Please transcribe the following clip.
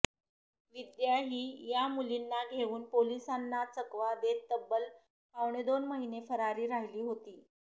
विद्या ही या मुलींना घेऊन पोलिसांना चकवा देत तब्बल पावणेदोन महिने फरारी राहिली होती